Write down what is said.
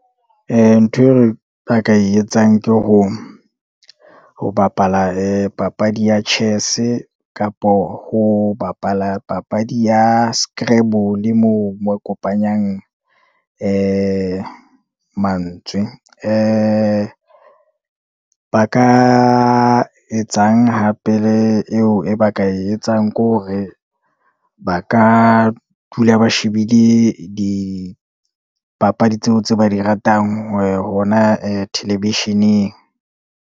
Ntho eo ba ka e etsang ke ho bapala papadi ya chess-e, kapo ho bapala papadi ya scribble, moo mo kopanyang mantswe ba ka etsang hape, le eo e ba ka e etsang ke hore, ba ka dula ba shebile dipapadi tseo, tse ba di ratang hona television-eng.